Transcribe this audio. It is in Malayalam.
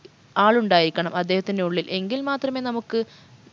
ആളുണ്ടായിരിക്കണം അദ്ദേഹത്തിൻറെ ഉള്ളിൽ എങ്കിൽ മാത്രമേ നമുക്ക്